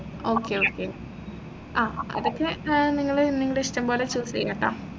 okay okay ആഹ് അതൊക്കെ നിങ്ങൾ നിങ്ങളെ ഇഷ്ടം പോലെ choose ചെയ്യാട്ടോ